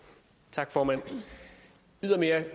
tak formand ydermere